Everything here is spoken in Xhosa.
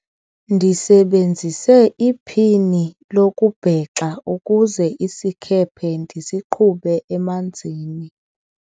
ndisebenzise iphini lokubhexa ukuze isikhephe ndisiqhube emanzini